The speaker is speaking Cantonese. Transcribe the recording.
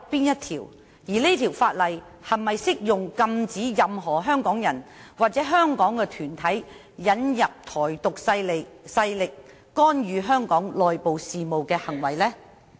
而該法例是否適用禁止任何香港人或團體引入"台獨"勢力，干預香港內部事務的行為呢？